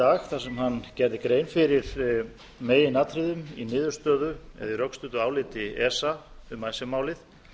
dag og gerði grein fyrir meginatriðum í rökstuddu áliti esa um icesave málið